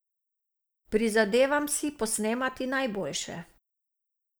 Prizadevam si posnemati najboljše.